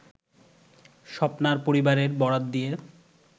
স্বপ্নার পরিবারের বরাত দিয়ে